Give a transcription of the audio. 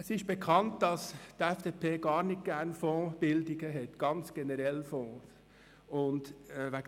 Es ist bekannt, dass die FDP Fondsbildungen sowie Fonds im Allgemeinen gar nicht mag.